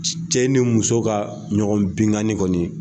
Cɛ ni muso ka ɲɔgɔn benkanni kɔni